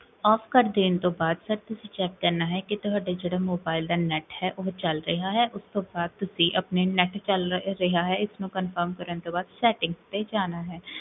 off ਕਰ ਦੇਣ ਤੋਂ ਬਾਦ, ਫੇਰ ਤੁਸੀਂ ਚੇਕ ਕਰਨਾ ਹੈ, ਕੀ ਤੁਹਾਡਾ ਜੇਹੜਾ ਮੋਬਾਇਲ ਦਾ net ਹੈ, ਓਹੋ ਚਲ ਰਿਹਾ ਹੈ, ਓਸ ਤੋਂ ਬਾਦ ਤੁਸੀਂ ਆਪਣੇ net ਚਲਰੇਹਾ ਹੈ, ਇਸਨੂੰ ਕਨਫਰਮ ਕਰਨ ਤੋਂ ਬਾਦ settings ਤੇ ਜਾਣਾ ਹੈ